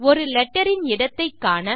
ஒரு லெட்டர் இன் இடத்தை காண